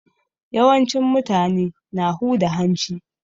Yawancin mutane na huda hanci.